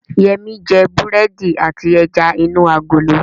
Yẹmí jẹ búrẹ́dì àti ẹja inú agolo